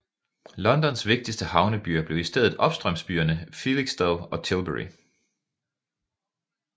Londons vigtigste havnebyer blev i stedet opstrømsbyerne Felixstowe og Tilbury